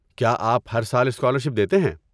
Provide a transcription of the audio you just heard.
کیا آپ ہر سال اسکالرشپ دیتے ہیں؟